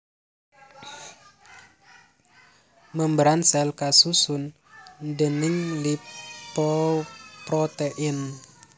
Membran sèl kasusun déning lipoprotein